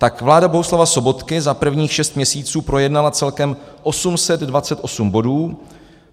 Tak vláda Bohuslava Sobotky za prvních šest měsíců projednala celkem 828 bodů.